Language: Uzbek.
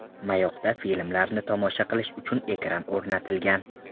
Mayoqda filmlarni tomosha qilish uchun ekran o‘rnatilgan.